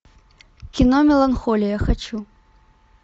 кино меланхолия хочу